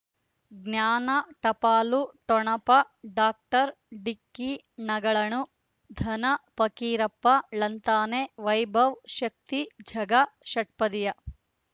ಜ್ಞಾನ ಟಪಾಲು ಠೊಣಪ ಡಾಕ್ಟರ್ ಢಿಕ್ಕಿ ಣಗಳನು ಧನ ಫಕೀರಪ್ಪ ಳಂತಾನೆ ವೈಭವ್ ಶಕ್ತಿ ಝಗಾ ಷಟ್ಪದಿಯ